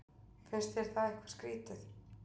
Finnst þér það eitthvað skrýtið?